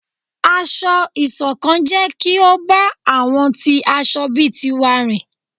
Ásọ̀-ìsokán jẹ kí o bá àwọn tí aṣọ̀ bí tiwá rìn